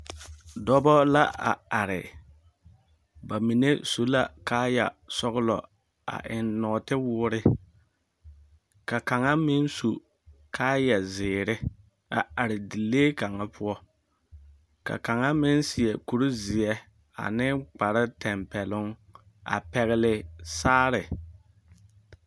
Dͻbͻ la are, ba mine su la kaaya sͻgelͻ a eŋ nͻͻte woore, ka kaŋa meŋ su kaaya zeere a are dielee kaŋa poͻ. Ka kaŋa meŋ seԑ kuri zeԑ ane kpare tampԑloŋ a pԑgele saare.